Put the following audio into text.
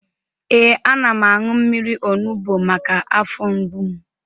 Ee, ana m aṅụ mmiri onubo maka afọ mgbu m